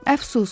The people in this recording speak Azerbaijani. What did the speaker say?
Əfsus.